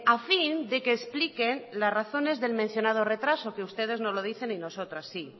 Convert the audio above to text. a fin de que expliquen las razones del mencionado retraso que ustedes no lo dicen y nosotras sí